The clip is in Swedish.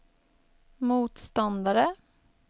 motståndare